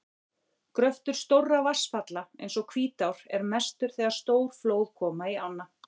Gröftur stórra vatnsfalla eins og Hvítár er mestur þegar stór flóð koma í ána.